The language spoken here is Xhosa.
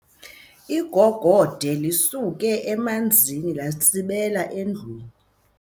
Igogode lisuke emanzini latsibela endlwini.